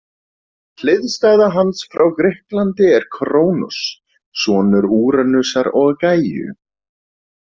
Hliðstæða hans frá Grikklandi er Krónos, sonur Úranusar og Gæju.